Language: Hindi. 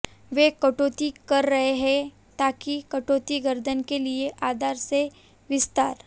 वे कटौती कर रहे हैं ताकि कटौती गर्दन के लिए आधार से विस्तार